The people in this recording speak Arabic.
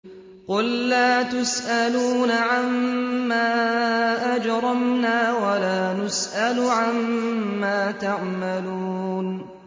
قُل لَّا تُسْأَلُونَ عَمَّا أَجْرَمْنَا وَلَا نُسْأَلُ عَمَّا تَعْمَلُونَ